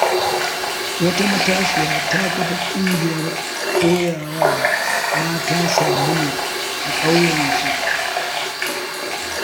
Wata matashiya ta kafa ƙungiyar koyawa mata sabulu a ƙauyensu.